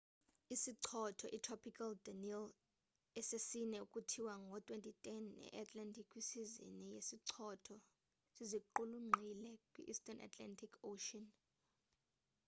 isichotho itropical danielle esesine ukuthiywa ngo 2010 e-atlantic kwisizini yezichotho siziqulunqile kwi-eastern atlantic ocean